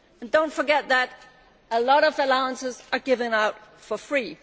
Do not forget that a lot of allowances are given out for free.